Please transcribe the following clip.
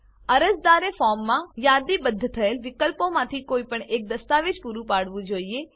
અરજદારે ફોર્મમાં યાદીબદ્ધ થયેલ વિકલ્પોમાંથી કોઈપણ એક દસ્તાવેજ પૂરું પાડવું જોઈએ